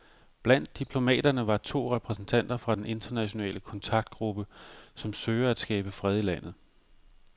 Blandt diplomaterne var to repræsentanter fra den internationale kontaktgruppe, som søger at skabe fred i landet.